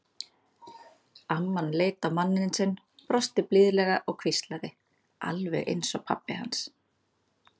Amman leit á manninn sinn, brosti blíðlega og hvíslaði: Alveg eins og pabbi hans.